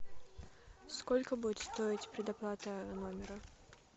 сколько будет стоить предоплата номера